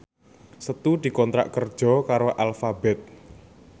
Setu dikontrak kerja karo Alphabet